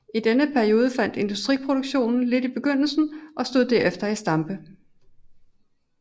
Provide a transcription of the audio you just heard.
I denne periode faldt industriproduktionen lidt i begyndelsen og stod derefter i stampe